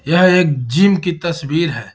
यह एक जिम की तस्वीर है।